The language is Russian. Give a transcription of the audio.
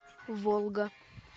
волга